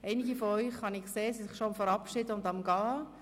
Einige von Ihnen sind daran, sich zu verabschieden und am Gehen.